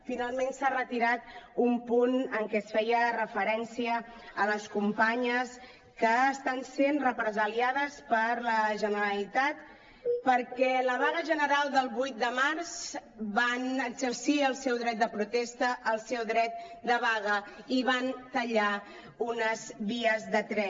finalment s’ha retirat un punt en què es feia referència a les companyes que estan sent represaliades per la generalitat perquè en la vaga general del vuit de març van exercir el seu dret de protesta el seu dret de vaga i van tallar unes vies de tren